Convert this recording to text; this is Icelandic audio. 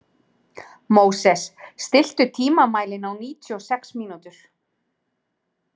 Móses, stilltu tímamælinn á níutíu og sex mínútur.